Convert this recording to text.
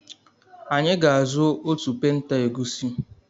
Anyị ga-azụ otu penta egusi.